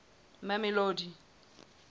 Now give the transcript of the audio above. mamelodi